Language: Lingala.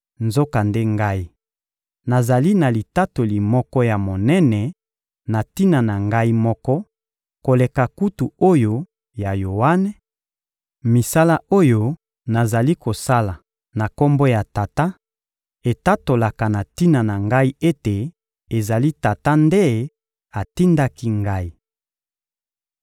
Nzokande Ngai, nazali na litatoli moko ya monene na tina na Ngai moko koleka kutu oyo ya Yoane: misala oyo nazali kosala na Kombo ya Tata etatolaka na tina na Ngai ete ezali Tata nde atindaki Ngai.